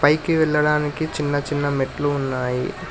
పైకి వెళ్లడానికి చిన్న చిన్న మెట్లు ఉన్నాయి.